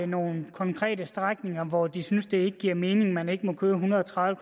nogen konkrete strækninger hvor de ikke synes det giver mening at man ikke må køre en hundrede og tredive